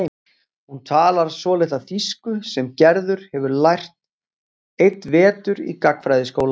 Hún talar svolitla þýsku sem Gerður hefur lært einn vetur í gagnfræðaskóla.